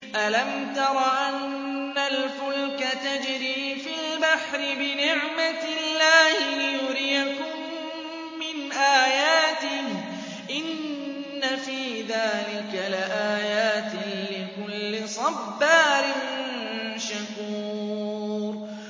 أَلَمْ تَرَ أَنَّ الْفُلْكَ تَجْرِي فِي الْبَحْرِ بِنِعْمَتِ اللَّهِ لِيُرِيَكُم مِّنْ آيَاتِهِ ۚ إِنَّ فِي ذَٰلِكَ لَآيَاتٍ لِّكُلِّ صَبَّارٍ شَكُورٍ